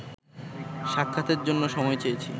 সাক্ষাতের জন্য সময় চেয়েছি